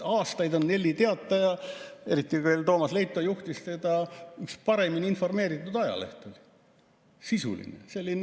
Aastaid on Nelli Teataja, eriti veel siis, kui Toomas Leito seda juhtis, olnud üks paremini informeeritud ajalehti, sisuline.